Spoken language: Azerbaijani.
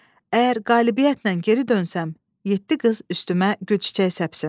Əgər qalibiyyətlə geri dönsəm, yeddi qız üstümə gülçiçək səpsin.